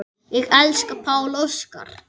Ég elska Pál Óskar.